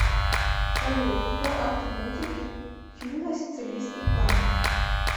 салют кто автор музыки фильма сицилийский клан